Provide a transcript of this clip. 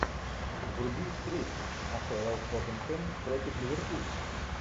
вруби встречу апл тоттенхэм против ливерпуля